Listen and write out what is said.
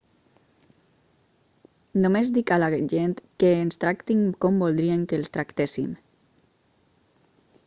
només dic a la gent que ens tractin com voldrien que els tractéssim